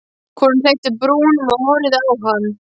Konan hleypti brúnum og horfði á hann.